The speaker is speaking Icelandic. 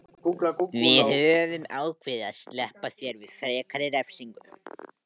Við höfum ákveðið að SLEPPA ÞÉR VIÐ FREKARI REFSINGU.